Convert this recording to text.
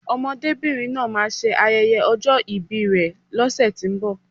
Ọmọdébìnrin náà máa ṣe ayẹyẹ ọjọ́ ìbi rè lọ́sẹ̀tínbọ̀